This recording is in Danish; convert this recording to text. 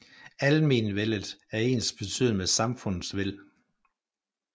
Almenvellet er ensbetydende med samfundets vel